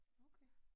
Okay